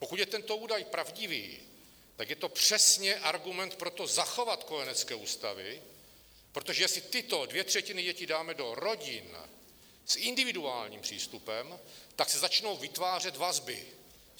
Pokud je tento údaj pravdivý, tak je to přesně argument pro to, zachovat kojenecké ústavy, protože jestli tyto dvě třetiny dětí dáme do rodin s individuálním přístupem, tak se začnou vytvářet vazby.